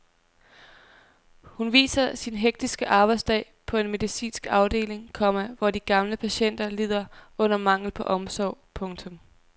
Hun viser sin hektiske arbejdsdag på en medicinsk afdeling, komma hvor de gamle patienter lider under manglen på omsorg. punktum